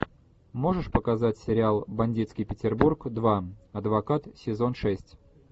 можешь показать сериал бандитский петербург два адвокат сезон шесть